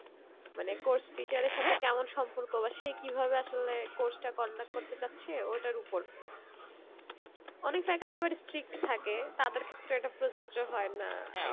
মানে course teacher এর সাথে কেমন সম্পর্ক বা সে কি ভাবে আসলে course টা conduct করতে চাচ্ছে ওইটার উপর অনেক faculty আবার strict থাকে তাদের ক্ষেত্রে এটা প্রোযোর্জ হয়ে না